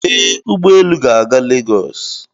Ee, ụgbọ elu ga-aga lagos